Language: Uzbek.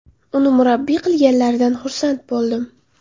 Uni murabbiy qilganlaridan xursand bo‘ldim.